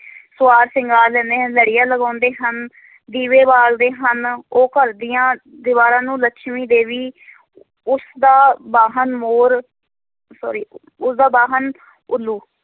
ਸੰਵਾਰ-ਸ਼ਿੰਗਾਰ ਲੈਂਦੇ ਹਨ, ਲੜੀਆਂ ਲਗਾਉਂਦੇ ਹਨ ਦੀਵੇ ਬਾਲਦੇ ਹਨ, ਉਹ ਘਰ ਦੀਆਂ ਦੀਵਾਰਾਂ ਨੂੰ ਲੱਛਮੀ ਦੇਵੀ ਉਸ ਦਾ ਵਾਹਣ ਮੋਰ sorry ਉਸਦਾ ਵਾਹਨ ਉੱਲੂ